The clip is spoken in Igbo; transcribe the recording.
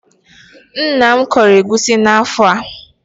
Nna m kọrọ egusi n'afọ a.